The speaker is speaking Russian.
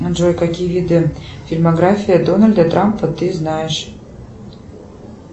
джой какие виды фильмографии дональда трампа ты знаешь